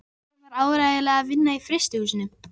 Nei, hún var áreiðanlega að vinna í frystihúsinu.